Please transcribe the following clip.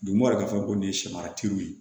Dugumɔ fɛn ko nin ye samara teriw ye